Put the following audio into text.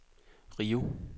Rio